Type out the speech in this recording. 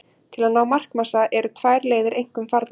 Til að ná markmassa eru tvær leiðir einkum farnar.